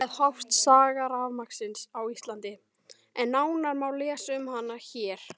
Þar með hófst saga rafmagnsins á Íslandi, en nánar má lesa um hana hér.